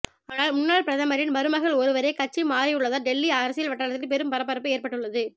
ஆனால் முன்னாள் பிரதமரின் மருமகள் ஒருவரே கட்சி மாறியுள்ளதால் டெல்லி அரசியல் வட்டாரத்தில் பெரும் பரபரப்பு ஏற்பட்டுள்ளது